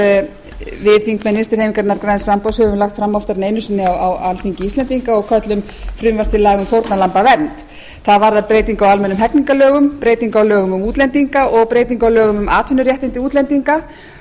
við þingmenn vinstri hreyfingarinnar græns framboðs höfum lagt fram oftar en einu sinni á alþingi íslendinga og köllum frumvarp til laga um fórnarlambavernd það varðar breytingu á almennum hegningarlögum breytingu á lögum um útlendinga og breytingu á lögum um atvinnuréttindi útlendinga